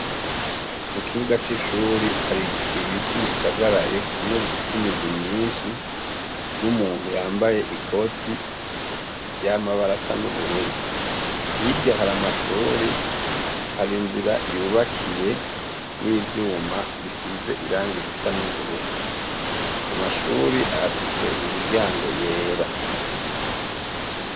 Mukibuga c'ishuri hari ibiti bisagaraye kimwe gifise imizi myinshi, n'umuntu yambaye ikoti y'amabara asa n'ubururu. Hirya hari amashuri, hari inzira yubakiye n'ivyuma bisize irangi risa n'ubururu. Amashuri afise imiryango yera.